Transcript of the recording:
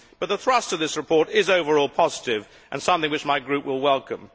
But the thrust of this report is generally positive and something which my group will welcome.